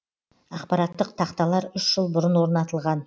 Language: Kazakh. ақпараттық тақталар үш жыл бұрын орнатылған